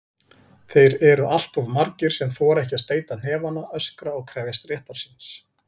Þeir eru alltof margir sem þora ekki að steyta hnefana, öskra og krefjast réttar síns.